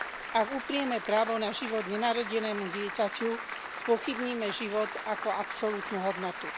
Ak uprieme právo na život nenarodenému dieťaťu, spochybníme život ako absolútnu hodnotu.